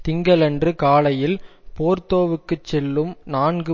திங்களன்று காலையில் போர்தோவுக்குச் செல்லும் நான்கு